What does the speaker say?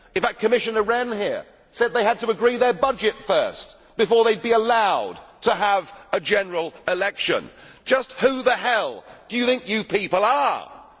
In fact, Commissioner Rehn here said they had to agree their budget first before they would be allowed to have a general election. Just who the hell do you people think you